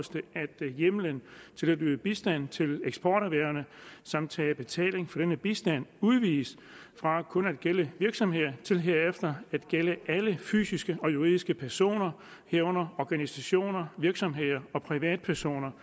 hjemmelen til at yde bistand til eksporterhvervene samt tage betaling for denne bistand udvides fra kun at gælde virksomheder til herefter at gælde alle fysiske og juridiske personer herunder organisationer virksomheder og privatpersoner